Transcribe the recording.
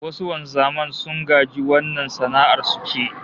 Wasu wanzaman sun gaji wannan sana'ar su ce